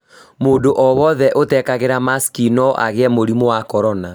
Mũndũ o wothe ũtekagĩra masiki no agĩe mũrimũ wa korona